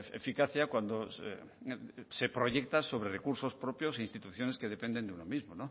eficacia cuando se proyecta sobre recursos propios e instituciones que dependen de uno mismo